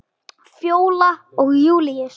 Fjóla og Júlíus.